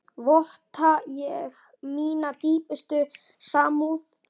Votta ég mína dýpstu samúð.